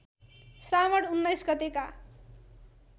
श्रावण १९ गतेका